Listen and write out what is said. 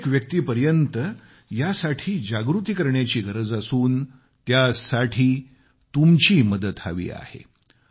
प्रत्येक व्यक्तीपर्यत यासाठी जागृती करण्याची गरज असून त्यासाठी तुमची मदत हवी आहे